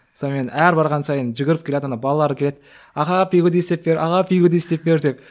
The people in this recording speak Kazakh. сонымен әр барған сайын жүгіріп келеді ана балалар келеді аға пигоди істеп бер аға пигоди істеп бер деп